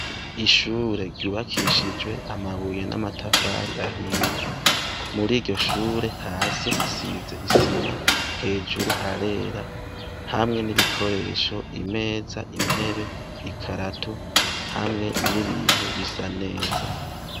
Ishure ryubakishijwe amabuye n'amatafari ahiye. Muri iryo shure, hasi hasize isima, hejuru harera, hamwe n'ibikoresho: imeza, intebe, ikarato, hamwe n'ibintu bisa neza.